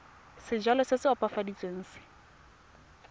sejalo se se opafaditsweng se